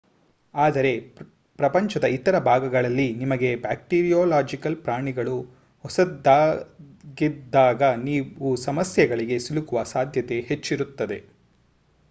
ಆದರೆ ಪ್ರಪಂಚದ ಇತರ ಭಾಗಗಳಲ್ಲಿ ನಿಮಗೆ ಬ್ಯಾಕ್ಟೀರಿಯೊಲಾಜಿಕಲ್ ಪ್ರಾಣಿಗಳು ಹೊಸದಾಗಿದ್ದಾಗ ನೀವು ಸಮಸ್ಯೆಗಳಿಗೆ ಸಿಲುಕುವ ಸಾಧ್ಯತೆ ಹೆಚ್ಚಿರುತ್ತದೆ